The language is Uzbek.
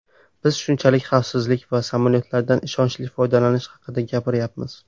Biz shunchaki xavfsizlik va samolyotlardan ishonchli foydalanish haqida gapiryapmiz.